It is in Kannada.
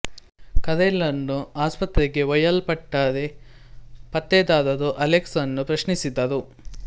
ಕರೆನ್ ಳನ್ನು ಆಸ್ಪತ್ರೆಗೆ ಒಯ್ಯಲ್ಪಟ್ಟರೆ ಪತ್ತೇದಾರರು ಅಲೆಕ್ಸ್ ರನ್ನು ಪ್ರಶ್ನಿಸಿದರು